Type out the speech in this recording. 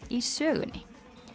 í sögunni